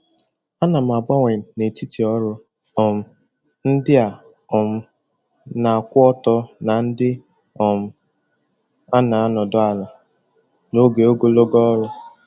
Ana m agbanwe n'etiti ọrụ um ndị a um na-akwụ ọtọ na ndị um a na-anọdụ ala n'oge ogologo ọrụ.